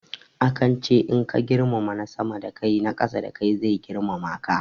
Akan ce in ka girmama na sama da kai na ƙasa da kai zai girmama ka.